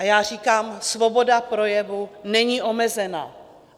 A já říkám, svoboda projevu není omezena.